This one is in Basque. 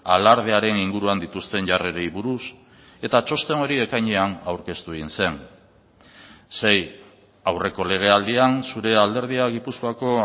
alardearen inguruan dituzten jarrerei buruz eta txosten hori ekainean aurkeztu egin zen sei aurreko legealdian zure alderdia gipuzkoako